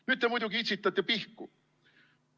Nüüd te muidugi itsitate pihku.